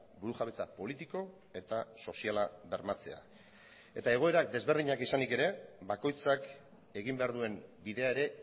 burujabetza politiko eta soziala bermatzea egoera ezberdinak izanik ere bakoitzak egin behar duen bidea ere